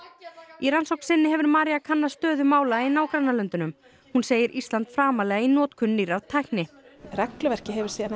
í rannsókn sinni hefur María kannað stöðu mála í nágrannalöndum hún segir Ísland framarlega í notkun nýrrar tækni regluverkið hefur síðan